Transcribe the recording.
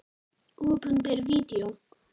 Opinber Vídeó